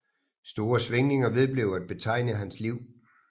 Store svingninger vedblev at betegne hans liv